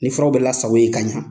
Ni furaw bɛ lasago yen ka ɲa.